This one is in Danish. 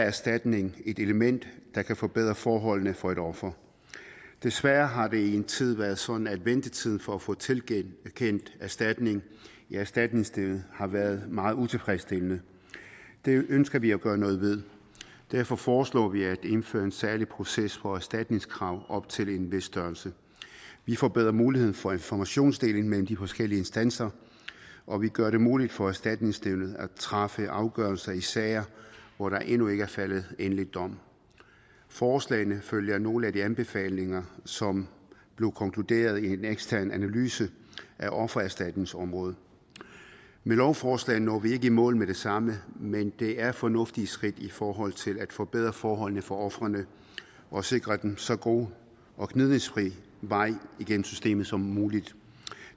erstatning et element der kan forbedre forholdene for et offer desværre har det i en tid været sådan at ventetiden for at få tilkendt erstatning i erstatningsnævnet har været meget utilfredsstillende det ønsker vi at gøre noget ved derfor foreslår vi at indføre en særlig proces for erstatningskrav op til en vis størrelse vi får bedre mulighed for informationsdeling mellem de forskellige instanser og vi gør det muligt for erstatningsnævnet at træffe afgørelser i sager hvor der endnu ikke er faldet en endelig dom forslagene følger nogle af de anbefalinger som blev konkluderet i en ekstern analyse af offererstatningsområdet med lovforslaget når vi ikke i mål med det samme men det er fornuftige skridt i forhold til at forbedre forholdene for ofrene og sikre dem en så god og gnidningsfri vej igennem systemet som muligt